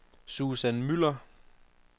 Susan Müller